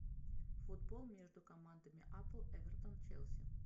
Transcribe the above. футбол между командами апл эвертон челси